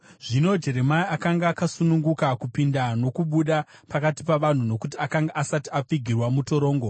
Zvino Jeremia akanga akasununguka kupinda nokubuda pakati pavanhu, nokuti akanga asati apfigirwa mutorongo.